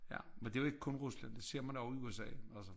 Ja men det jo ikke kun Rusland det ser man også i USA altså